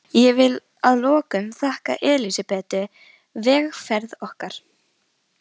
Ég vil að lokum þakka Elsabetu vegferð okkar.